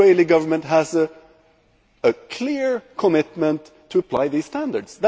The Israeli Government has a clear commitment to applying these standards.